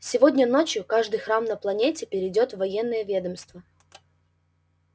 сегодня ночью каждый храм на планете перейдёт в военное ведомство